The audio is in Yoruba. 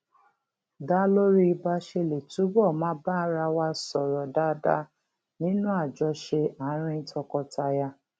dá lórí bá a ṣe lè túbò máa bá ara wa sòrò dáadáa nínú àjọṣe àárín tọkọtaya